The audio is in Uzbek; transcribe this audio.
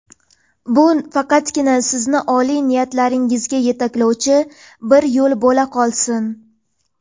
Bu faqatgina sizni oliy niyatlaringizga yetaklovchi bir yo‘l bo‘la olsin.